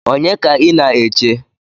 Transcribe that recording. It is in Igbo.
Onye ka ị na-eche?